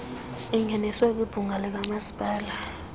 ingeniswe kwibhunga likamasipala